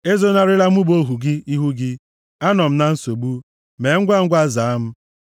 Ezonarịla mụ bụ ohu gị ihu gị. Anọ m na nsogbu, mee ngwangwa zaa m!